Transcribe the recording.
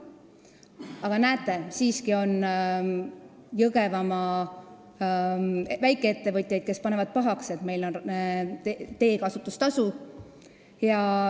Aga näete, siiski on Jõgevamaal väikeettevõtjaid, kes panevad pahaks, et meil on teekasutustasu.